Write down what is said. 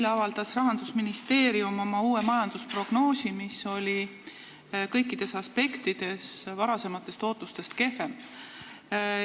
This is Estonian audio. Eile avaldas Rahandusministeerium oma uue majandusprognoosi, mis oli kõikides aspektides varasematest ootustest kehvem.